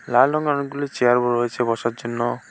লাল রঙের অনেকগুলি চেয়ার ও রয়েছে বসার জন্য।